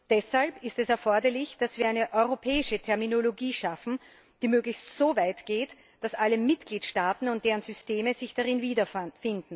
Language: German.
Deshalb ist es erforderlich, dass wir eine europäische Terminologie schaffen, die möglichst so weit geht, dass alle Mitgliedstaaten und deren Systeme sich darin wiederfinden.